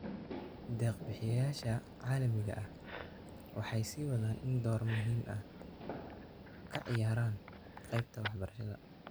Deeq bixiyayaasha caalamiga ahi waxay siiwadaan inay door muhiim ah kaciyaaraan qaybta waxbarashada .